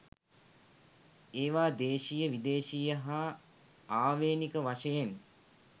ඒවා දේශීය විදේශීය හා ආවේණික වශයෙන්